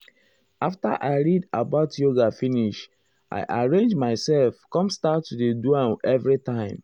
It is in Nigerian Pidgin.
after i read about yoga finish i arrange myself com start to dey do am everytime.